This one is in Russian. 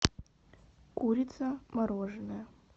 курица мороженная